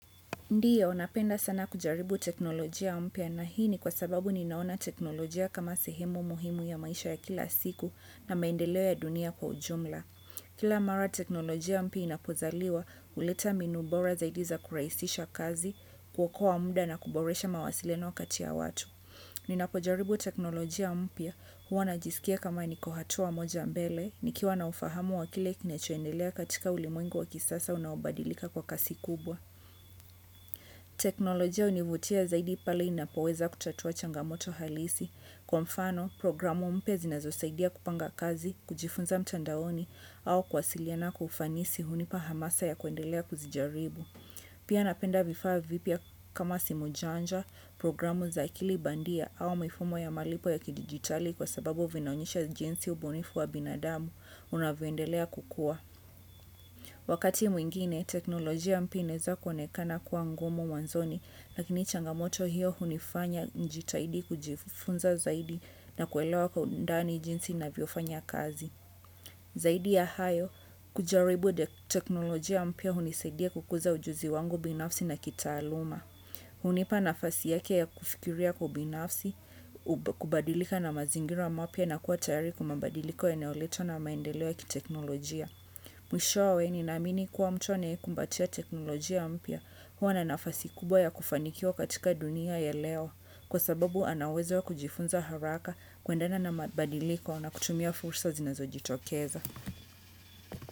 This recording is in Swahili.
Ndiyo, napenda sana kujaribu teknolojia mpia na hini kwa sababu ninaona teknolojia kama sehemu muhimu ya maisha ya kila siku na maendeleo ya dunia kwa ujumla. Kila mara teknolojia mpia inapozaliwa, uleta mbinubora zaidiza kuraisisha kazi, kuokoa mda na kuboresha mawasiliano kati ya watu. Ninapojaribu teknolojia mpia, huwa na jisikia kama nikohatua moja mbele, nikiwa na ufahamu wa kile kinechoendelea katika ulimuengu wa kisasa unaobadilika kwa kasi kubwa. Teknolojia univutia zaidi pali inapoweza kutatua changamoto halisi. Kwa mfano, programu mpia zi na zosaidia kupanga kazi, kujifunza mtandaoni au kwasiliana kwa ufanisi hunipa hamasa ya kuendelea kuzijaribu. Pia napenda vifaa vipia kama simu janja, programu za akilibandia au mifumo ya malipo ya kidigitali kwa sababu vinaonyesha jinsi ubunifu wa binadamu unavuendelea kukua. Wakati mwingine, teknolojia mpia ineza konekana kua ngumu mwanzoni, lakini changamoto hiyo hunifanya njitaidi kujifunza zaidi na kuelewa kwa undani jinsi na viofanya kazi. Zaidi ya hayo, kujaribu teknolojia mpia hunisedia kukuza ujuzi wangu binafsi na kitaaluma. Hunipa nafasi yake ya kufikiria kubinafsi, kubadilika na mazingira mapya na kuwa tayari kumabadiliko yanayoletwa na maendeleo kiteknolojia. Mwishowe ni namini kuwa mtu anae kumbatia teknolojia mpya huwa na nafasi kubwa ya kufanikiwa katika dunia ya leo kwa sababu ana uwezo wa kujifunza haraka kuendana na mabadiliko na kutumia fursa zinazo jitokeza.